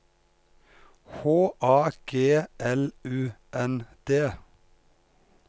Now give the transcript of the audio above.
H A G L U N D